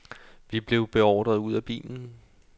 Vi blev beordret ud af bilen.